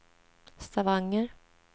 Stavanger